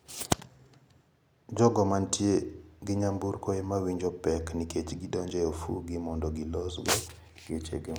Jogo mantie gi nyamburko ema winjo pek nikech donjo e ofukegi mondo gilos go gachego.